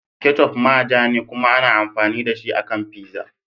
Ketchup ma ja ne kuma ana amfani da shi a kan pizza.